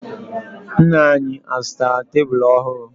Nna anyị azụtara tebulu ọhụrụ?